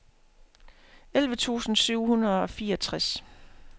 elleve tusind syv hundrede og fireogtres